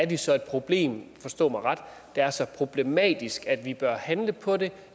det så er et problem forstå mig ret der er så problematisk at vi bør handle på det